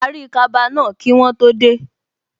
Parí kaba náà kí wọ́n tó dé